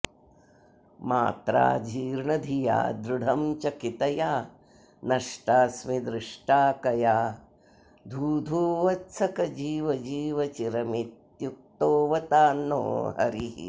मात्राऽजीर्णधिया दृढं चकितया नष्टाऽस्मि दृष्टाः कया धूधू वत्सक जीव जीव चिरमित्युक्तोऽवतान्नो हरिः